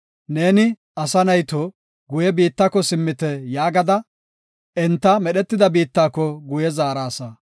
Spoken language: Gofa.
Neeni, “Asa nayto, guye biittako simmite” yaagada, enta medhetida biittako guye zaarasa.